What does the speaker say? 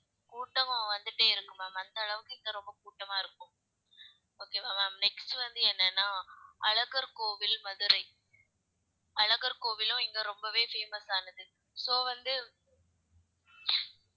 கூட்டமா வந்துட்டே இருக்கும் ma'am அந்த அளவுக்கு இங்க ரொம்ப கூட்டமா இருக்கும் okay வா ma'am next வந்து என்னன்னா அழகர் கோவில் மதுரை அழகர் கோவிலும் இங்க ரொம்பவே famous ஆனது so வந்து